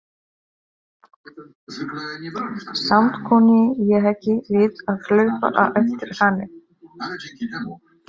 Samt kunni ég ekki við að hlaupa á eftir henni.